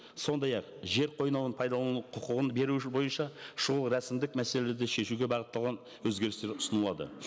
сондай ақ жер қойнауын пайдалану құқығын беру бойынша шұғыл рәсімдік мәселелерді шешуге бағытталған өзгерістер ұсынылады